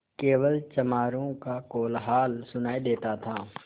केवल चमारों का कोलाहल सुनायी देता था